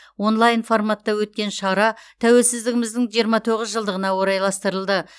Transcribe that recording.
онлайн форматта өткен шара тәуелсіздігіміздің жиырма тоғыз жылдығына орайластырылды